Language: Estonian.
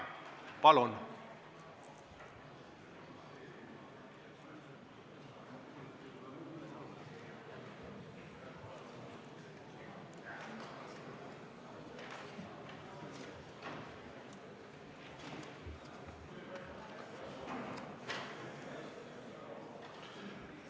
Palun!